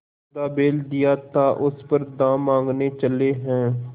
मुर्दा बैल दिया था उस पर दाम माँगने चले हैं